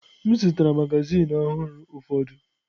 M zụtara magazin ọhụrụ ụfọdụ.